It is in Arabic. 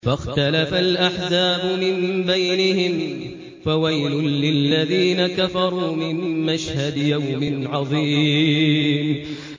فَاخْتَلَفَ الْأَحْزَابُ مِن بَيْنِهِمْ ۖ فَوَيْلٌ لِّلَّذِينَ كَفَرُوا مِن مَّشْهَدِ يَوْمٍ عَظِيمٍ